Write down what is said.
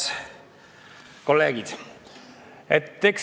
Head kolleegid!